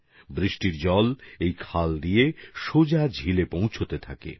এই নালার মাধ্যমে বিভিন্ন জায়গার বৃষ্টির জল সোজা হ্রদে চলে আসতে থাকে